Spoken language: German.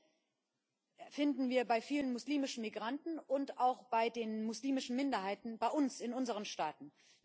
Die erste finden wir bei vielen muslimischen Migranten und auch bei den muslimischen Minderheiten bei uns, in unseren Staaten.